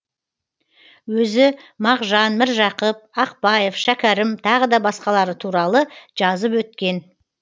өзі мағжан міржақып ақпаев шәкәрім тағы да басқалары туралы жазып өткен